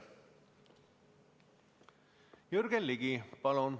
Jürgen Ligi, palun!